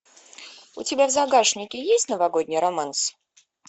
у тебя в загашнике есть новогодний романс